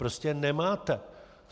Prostě nemáte!